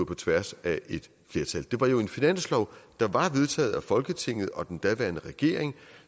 på tværs af et flertal det var jo en finanslov der var vedtaget af folketinget og den daværende regering